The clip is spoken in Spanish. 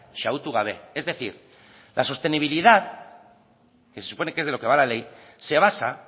xahutu gabe es decir la sostenibilidad que se supone que es de lo que va la ley se basa